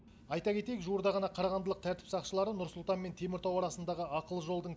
айта кетейік жуырда ғана қарағандылық тәртіп сақшылары нұр сұлтан мен теміртау арасындағы ақылы жолдың